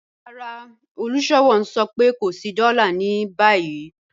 Rárá, olúṣọ̀wọ̀ n sọ̀ pẹ̀ kò sí dóla ni báyi